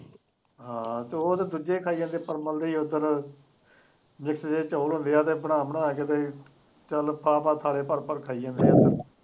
ਆਹੋ ਤੇ ਉਹ ਤੇ ਦੂਜੇ ਖਾਈ ਜਾਂਦੇ ਹੈੈ ਪਰਮਲ ਦੇ ਚੋਲ ਹੁੰਦੇ ਹੈ ਉਹ ਬਣਾ ਬਣਾ ਕੇ ਤੇ ਚੱਲ ਪਾ ਪਾ ਥਾਲੇ ਭਰ ਭਰ ਖਾਈ ਜਾਂਦੇ ਹੈ